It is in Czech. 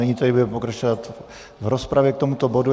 Nyní tedy budeme pokračovat v rozpravě k tomuto bodu.